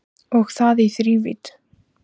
Og það í þrívídd